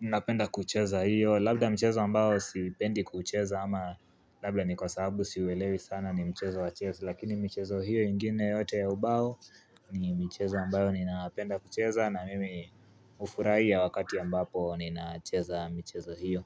ninapenda kucheza hiyo, labda mchezo ambao sipendi kucheza ama labda ni kwa sababu siuelewi sana ni mchezo wa chessy, lakini michezo hiyo ingine yote ya ubao ni michezo mbayo ninapenda kucheza na mimi hufuraa wakati ambapo ninacheza michezo hiyo.